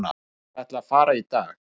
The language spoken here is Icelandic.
Ég ætla að fara í dag.